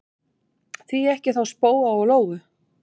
Því ekki þá spóa og lóu?